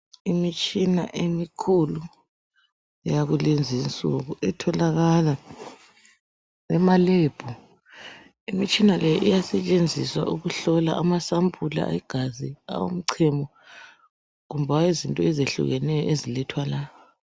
Imitshina emikhulu yakulezinsuku etholakala ema "Lab". Imitshina le iyasentshenziswa ukuhlola amasampula egazi, awomchemo kumbe awezinto ezehlukeneyo ezilethwa la.